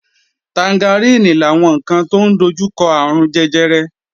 Tangaríìnì làwọn ǹkan tó ń dojúkọ àrùn jẹjẹrẹ